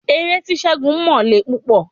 Ère tí ségun mọ le púpọ̀